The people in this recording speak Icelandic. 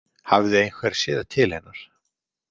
Hafði einhver séð til hennar?